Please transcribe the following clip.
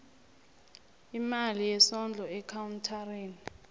imali yesondlo ekhawunthareni